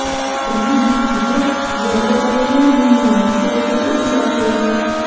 Ramzan Qodirov Yevropadagi muammolar sababiga izoh berdi.